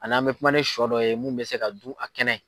A n'an mɛ kuma ni shɔ dɔ ye mun bɛ se ka dun a kɛnɛ.